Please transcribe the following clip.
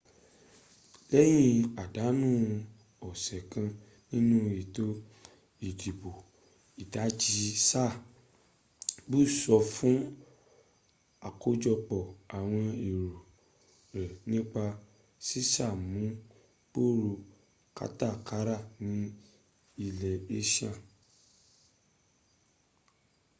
lẹ́yin àdánu ọ̀sẹ̀ kan nínú ètò ìdìbò ìdajì sáà bush sọ fún àkójọpọ̀ àwọn èro rẹ̀ nípa sísàmúngbòrò kátàkárà ní ilẹ̀ asia